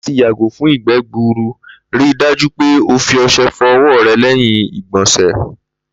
Láti yàgò fún ìgbé̩ gburu, ri dájú pé o fi o̩s̩e̩ fo̩ o̩wó̩ re̩ lé̩yìn ìgbò̩sè̩.